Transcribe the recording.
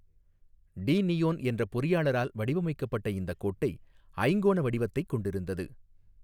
D நியோன் என்ற பொறியாளரால் வடிவமைக்கப்பட்ட இந்த கோட்டை ஐங்கோண வடிவத்தைக் கொண்டிருந்தது.